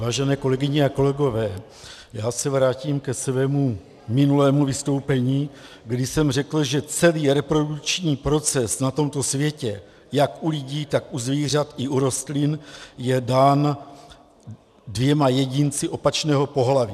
Vážené kolegyně a kolegové, já se vrátím ke svému minulému vystoupení, kdy jsem řekl, že celý reprodukční proces na tomto světě, jak u lidí, tak u zvířat i u rostlin, je dán dvěma jedinci opačného pohlaví.